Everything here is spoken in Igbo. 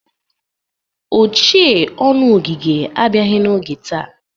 Ochee ọnụ ogige abiaghị n'oge taa.